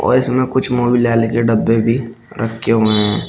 और इसमें कुछ मोबिल ऑइल के डब्बे भी रखे हुए हैं।